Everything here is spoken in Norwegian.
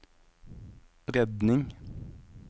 redning